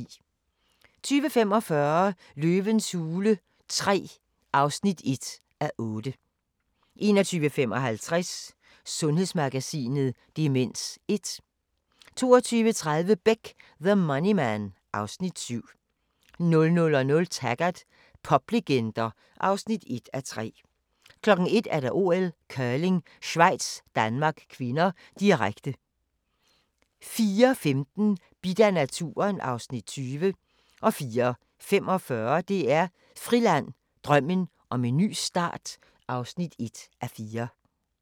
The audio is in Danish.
20:45: Løvens hule III (1:8) 21:55: Sundhedsmagasinet: Demens 1 22:30: Beck: The Money Man (Afs. 7) 00:00: Taggart: Poplegender (1:3) 01:00: OL: Curling: Schweiz-Danmark (k), direkte 04:15: Bidt af naturen (Afs. 20) 04:45: DR Friland: Drømmen om en ny start (1:4)